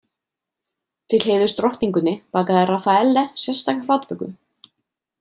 Til heiðurs drottningunni bakaði Rafaelle sérstaka flatböku.